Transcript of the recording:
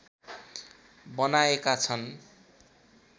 बनाएका छन्